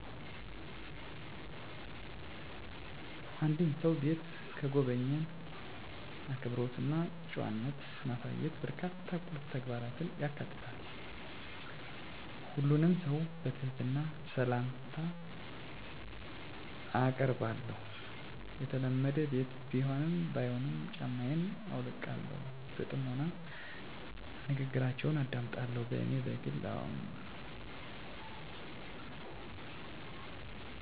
የአንድን ሰው ቤት ስጎበኝ፣ አክብሮት እና ጨዋነት ማሳየት በርካታ ቁልፍ ተግባራትን ያካትታል። ሁሉንም ሰው በትህትና ሰላምታ አአቀርባለሁ፣ የተለመደ ቤት ቢሆንም ባይሆንም ጫማየን አውልቃለሁ። በጥሞና ንግግራችውን አደምጣለሁ፣ በኔ በግል አምነት ሰወች ሲያወሩ ማቋረጥ እንደለለብኝ አምነለሁ። የቤታቸውን ህግ አክብሮ እሰክወጣ በትግሰት እጠብቃለሁ፣ ከመውጣቴ በፈት ምሰጋነየን አቀርባለሁ በአጠቃላይ፣ ለቤተሰባቸው ያለኝን አክብሮት አሳያለሁ።